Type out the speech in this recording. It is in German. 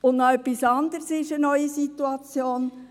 Noch etwas anderes ist eine neue Situation: